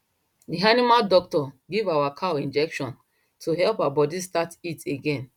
the animal doctor give our cow injection to help her body start heat again